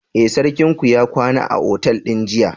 Eh, sarkinku ya kwana a otal din jiya.